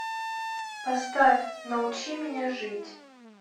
поставь научи меня жить